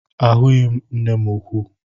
Ahụghị m mma nnuku gị